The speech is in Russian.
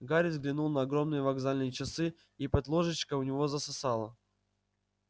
гарри взглянул на огромные вокзальные часы и под ложечкой у него засосало